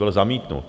Byl zamítnut.